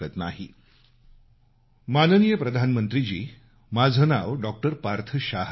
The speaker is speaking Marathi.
फोन कॉल माननीय पंतप्रधानजी माझं नाव डॉक्टर पार्थ शाह आहे